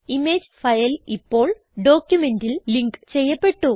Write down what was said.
image file ഇപ്പോൾ ഡോക്യുമെന്റിൽ link ചെയ്യപ്പെട്ടു